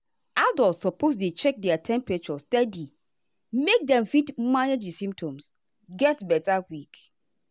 adults suppose dey check their temperature steady make dem fit manage di symptoms get beta quick.